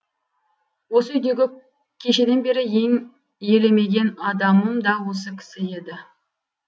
осы үйдегі кешеден бері ең елемеген адамым да осы кісі еді